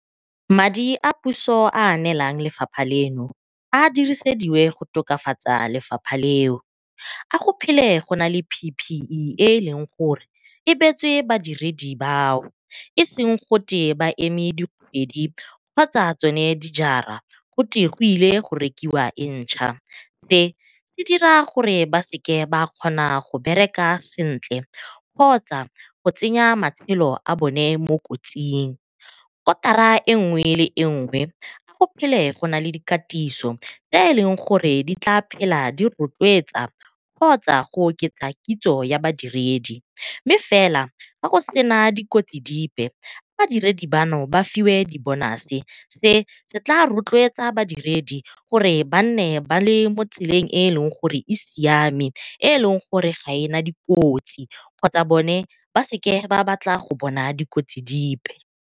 Madi a puso a a neelang lefapha leno a a dirisediwe go tokafatsa lefapha leo, a go phele go nale P_P_E e e leng gore e beetswe badiredi bao e seng gote ba eme dikgwedi kgotsa tsone dijara gote go ilwe go rekiwa e ntšha. Se se dira gore ba sa kgona go bereka sentle kgotsa go tsenya matshelo a bone mo kotsing. Kotara engwe le engwe go phele go nale dikatiso tse e leng gore di tla phela di rotloetsa kgotsa go oketsa kitso ya badiredi, mme fela ga go sena dikotsi dipe badiredi botlhe ba fiwe di bonase se se tla rotloetsa badiredi gore nne ba le mo tseleng e e leng gore e siame e e leng gore ga ena dikotsi kgotsa bone ba seke ba batla go bona dikotsi dipe.